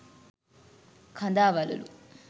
කදාවළලු,